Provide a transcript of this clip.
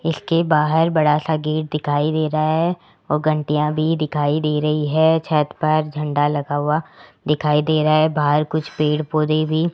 इसके बाहर बड़ा सा गेट दिखाई दे रहा है घंटियां भी दिखाई दे रही है छत पे झंडा लगा हुआ दिखाई दे रहा है बाहर कुछ पेड़ पौधे भी --